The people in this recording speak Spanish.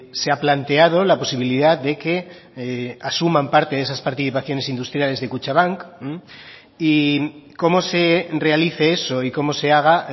se ha planteado la posibilidad de que asuman parte de esas participaciones industriales de kutxabank y cómo se realice eso y cómo se haga